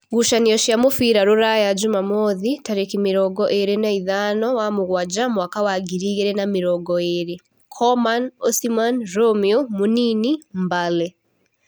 Ngucanio cia mũbira Rūraya Jumamothi tarĩki mĩrongo ĩrĩ na ithano wa mũgwanja mwaka wa ngiri igĩrĩ na mĩrongo ĩrĩ: Koman, Osiman, Romeo, Mũnini, Mbale